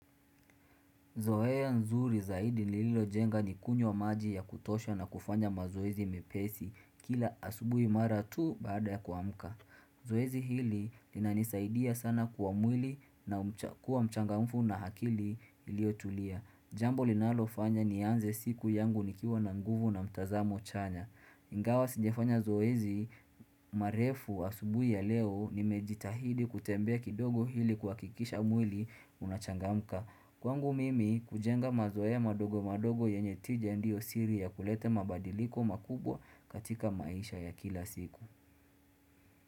Zoea nzuri zaidi nililo jenga ni kunywa maji ya kutosha na kufanya mazoezi mepesi kila asubui mara tu baada ya kuamuka. Zoezi hili linanisaidia sana kuwa mwili na kuwa mchangamfu na hakili ilio tulia. Jambo linalo fanya ni anze siku yangu nikiwa na nguvu na mtazamo chanya. Ingwa sigefanya zoezi marefu asubui\ ya leo nimejitahidi kutembe kidogo hili kuha kikisha mwili unachangamka. Kwangu mimi kujenga mazoea madogo madogo yenye tijendio siri ya kulete mabadiliko makubwa katika maisha ya kila siku.